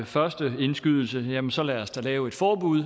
første indskydelse at jamen så lad os da lave et forbud